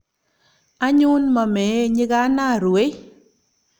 anyun, momeei nyikana, ruwei